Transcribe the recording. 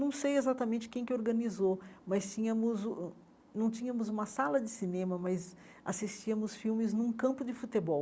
Não sei exatamente quem que organizou, mas tínhamos uh hum não tínhamos uma sala de cinema, mas assistíamos filmes num campo de futebol.